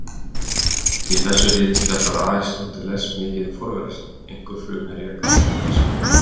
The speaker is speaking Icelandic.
Í þessu riti fjallar Aristóteles mikið um forvera sína, einkum frumherja grískrar heimspeki.